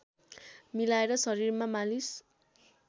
मिलाएर शरीरमा मालिश